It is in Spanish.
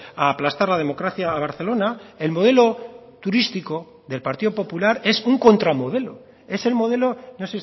a aplastar la democracia a barcelona el modelo turístico del partido popular es un contramodelo es el modelo no